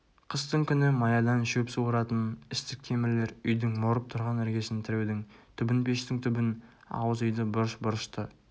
қыстың күні маядан шөп суыратын істік темірлер үйдің морып тұрған іргесін тіреудің түбін пештің түбін ауыз үйді бұрыш бұрышты